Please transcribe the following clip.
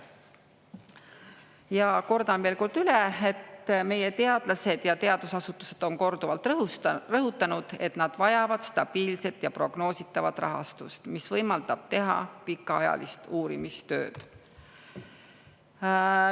Ja kordan veel kord üle, et meie teadlased ja teadusasutused on korduvalt rõhutanud, et nad vajavad stabiilset ja prognoositavat rahastust, mis võimaldab teha pikaajalist uurimistööd.